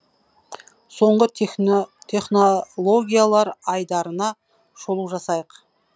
соңғы технологиялар айдарына шолу жасайық